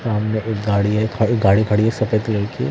सामने एक गाड़ी है गाड़ी खड़ी है सफेद कलर की--